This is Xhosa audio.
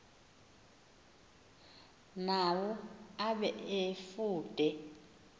nawo abe efude